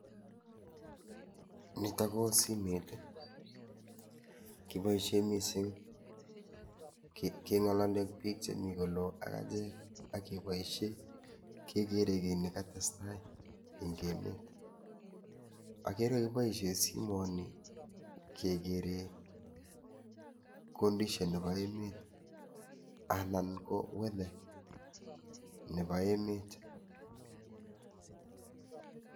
Nito ko simet kiboishe mising keng'olole ak biik chemi kolo ak echek ak keboishe kegere kii nekatestai eng' emet agere keboishe simoni kegere [condition] nebo emet anan ko weather nebo emet